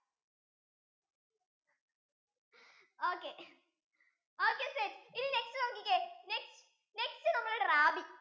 okay okay set ഇനി next നോക്കിക്കേ next next നമ്മൾ rabi